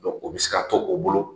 o bɛ se ka to o bolo